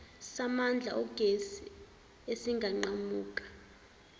samandla ogesi esinganqamuki